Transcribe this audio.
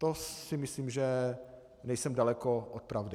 To si myslím, že nejsem daleko od pravdy.